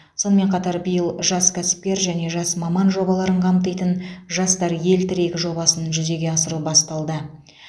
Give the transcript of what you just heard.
сонымен қатар биыл жас кәсіпкер және жас маман жобаларын қамтитын жастар ел тірегі жобасын жүзеге асыру басталды